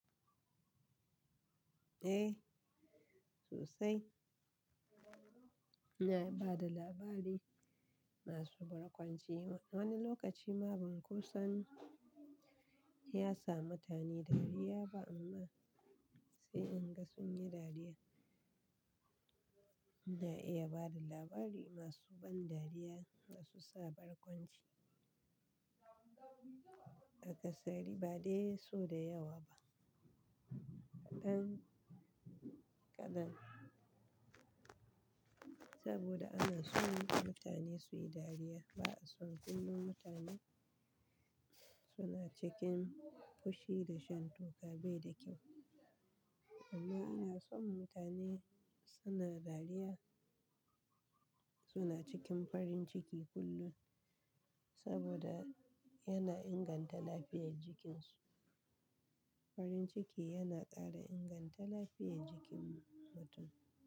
Eh sosai. Na bada labari masu barkwanci. Wani lokaci ma ban ko san ya sa mutane dariya ba amma sai in ga sun yi dariya. Na iya bada labari masu ban dariya da su sa barkwanci. A kasari ba dai so da yawa ba. Ɗan kadan saboda ana so mutane su yi dariya. Ba a so kullum mutane suna cikin fushi da shan toka bai da kyau. Amma ina so mutane suna dariya, suna cikin farin ciki kullum saboda yana inganta lafiyar jikinsu. Farin ciki yana ƙara inganta lafiyar jikin mutum.